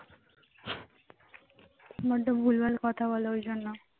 মনটা ভুলভাল কথা বলে ওই জন্য